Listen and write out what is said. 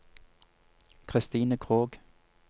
Christine Krogh